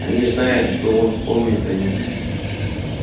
они знают что он помнит о них